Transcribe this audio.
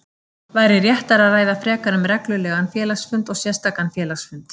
væri réttara að ræða frekar um reglulegan félagsfund og sérstakan félagsfund.